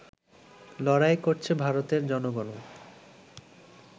লড়াই করছে ভারতের জনগণও